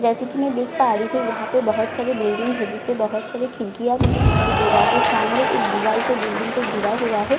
जैसे कि मैं देख पा रही हूं यहां पे बहुत सारी बिल्डिंग है बहुत सारी खिरकियां मुझे दिखाई दे रहा है सामने एक दीवाल से बिल्डिंग को घिरा हुआ है इसके--